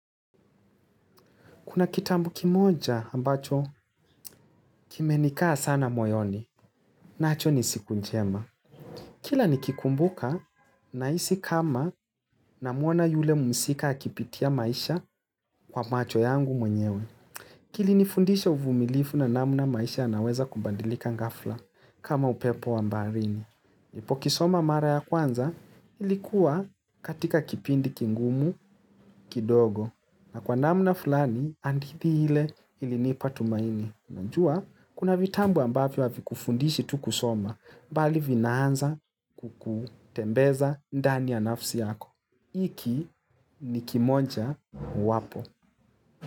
Kuna kitabu kimoja ambacho kimenikaa sana moyoni nacho ni siku mjema. Kila nikikumbuka nahisi kama namuona yule mhusika akipitia maisha kwa macho yangu mwenyewe. Kilinifundisha uvumilivu na namna maisha yanaweza kubadilika ghafla kama upepo wa baharini. Nilipokisoma mara ya kwanza kilikuwa katika kipindi kigumu kidogo. Na kwa namna fulani, hadithi ile ilinipa tumaini. Najua, kuna vitabu ambavyo havikufundishi tu kusoma, mbali vinaanza kukutembeza ndani ya nafsi yako. Iki ni kimoja wapo.